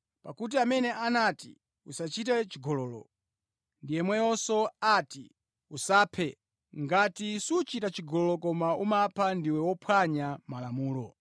Pakuti amene anati “Usachite chigololo” ndi yemweyonso anati “Usaphe.” Ngati suchita chigololo koma umapha, ndiwe wophwanya Malamulo.